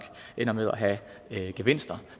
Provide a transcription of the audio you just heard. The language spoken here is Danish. ender med at have gevinster